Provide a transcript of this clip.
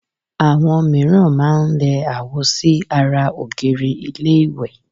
Àwọn mìíràn máá ń lẹ àwo sí ara ògiri ilé ìwẹ̀